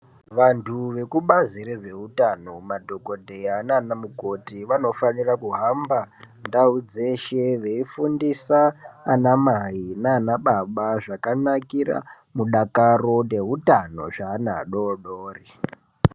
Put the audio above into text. Vantu vekubazi rezveutano madhokodheya nanamukoti vanofanira kuhamba ndau dzeshe veifundisa anamai nanababa zvakanakira mudakaro neutano zveana adori dori.